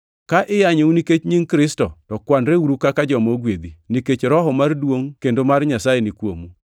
Ka iyanyou nikech nying Kristo to kwanreuru kaka joma ogwedhi, nikech Roho mar duongʼ kendo mar Nyasaye ni kuomu.